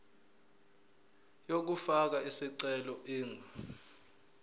yokufaka isicelo ingu